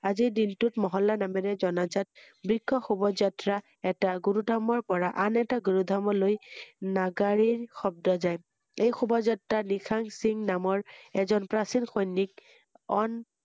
আজিৰ দিনটোত মহল্লা নামেৰে জনাজাত বৃক্ষ শোভাযাএা এটা গুৰু ধৰ্মৰ পৰা আন এটা গুৰু ৰ্ধৰ্মলৈ নাগাৰিৰ শব্দ যায় ৷এই শোভা যাএা নিশাং সিং নামৰ এজন প্ৰাচীন সৈনিক অন